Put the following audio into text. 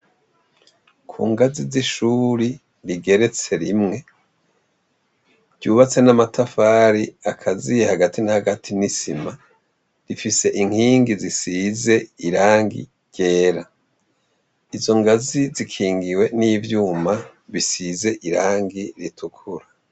Ku ngazi z'ishuri rigeretse rimwe ryubatse n'amatafari akaziye hagati n'hagati n'isima rifise inkingi zisize irangi ryera izo ngazi zikingiwe n'ivyuma bisize irangi ritukura.